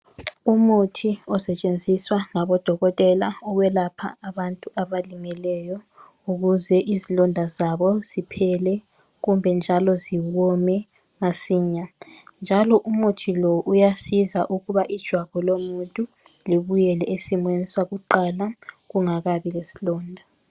Umuthi osetshenziswa ngabodokotela ukwelapha abantu abalimeleyo ukuze izilonda zabo ziphele njalo ziwone masinya njalo umuthi lo uyasiza ukuba ijwabu lomuntu libuyele esimeni sakuqala kungakabi lesilonda.